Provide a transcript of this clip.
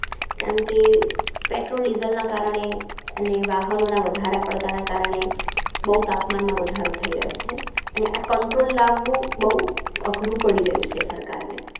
કેમ કે Petrol diesel ના કારણે અને વાહનોના વધારા પડતાં ના કારણે બઉ તાપમાનમાં વધારો થઈ રહ્યો છે. અને આ Control લાવવું બઉ અઘરું પડી રહ્યું છે સરકારને